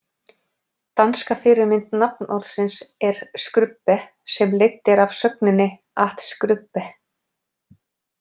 Danska fyrirmynd nafnorðsins er skrubbe sem leidd er af sögninni at skrubbe.